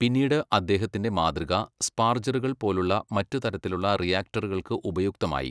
പിന്നീട് അദ്ദേഹത്തിന്റെ മാതൃക സ്പാർജറുകൾ പോലുള്ള മറ്റ് തരത്തിലുള്ള റിയാക്ടറുകൾക്ക് ഉപയുക്തമായി.